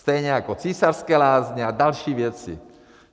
Stejně jako Císařské lázně a další věci.